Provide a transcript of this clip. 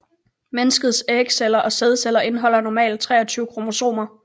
Menneskets ægceller og sædceller indeholder normalt 23 kromosomer